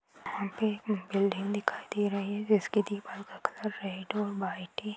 यहाँ पे एक बिल्डिंग दिखाई दे रही है जिसके दीवार का कलर रेड और व्हाइट है।